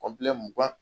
mugan